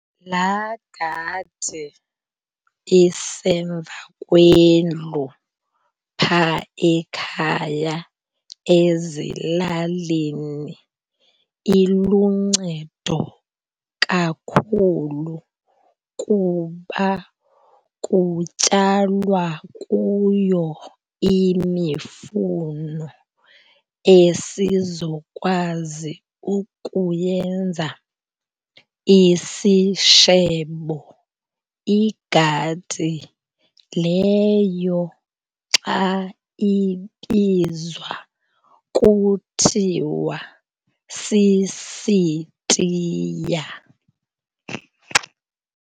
Laa gadi isemva kwendlu phaa ekhaya ezilalini iluncedo kakhulu kuba kutyalwa kuyo imifuno esizokwazi ukuyenza isishebo. Igadi leyo xa ibizwa kuthiwa sisitiya.